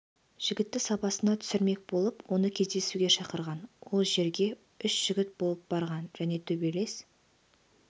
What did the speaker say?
жігітті сабасына түсірмек болып оны кездесуге шақырған ол жерге үш жігіт болып барған және төбелес